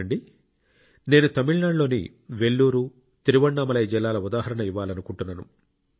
చూడండి నేను తమిళనాడులోని వెల్లూరు తిరువణ్ణామలై జిల్లాల ఉదాహరణ ఇవ్వాలనుకుంటున్నాను